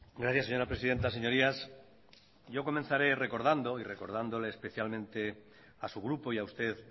gracias señora presidenta señorías yo comenzaré recordando y recordándole especialmente a su grupo y a usted